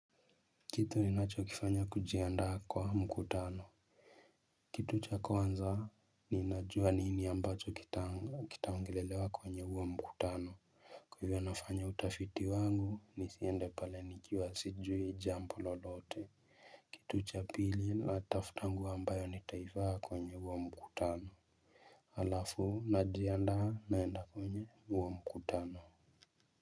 Kitu ni nacho kifanya kujiandaa kwa mkutano kitu cha kwanza ninajua nini ambacho kitaongelelewa kwenye huo mkutano Kwa hivyo nafanya utafiti wangu ni siende pale nikiwa sijui jambo lolote kitu cha pili natafuta nguo ambayo nitaiaa kwenye huo mkutano Halafu najiandaa naenda kwenye huo mkutano.